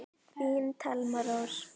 Þín Thelma Rós.